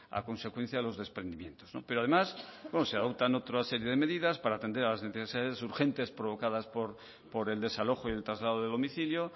a consecuencia de los desprendimientos pero además se adoptan otras serie de medidas para atender a las necesidades urgentes provocadas por el desalojo y el traslado de domicilio